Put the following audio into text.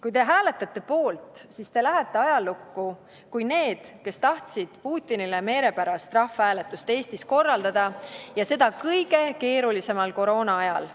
Kui te hääletate poolt, siis te lähete ajalukku kui need, kes tahtsid Eestis Putinile meelepärast rahvahääletust korraldada ja seda kõige keerulisemal koroonaajal.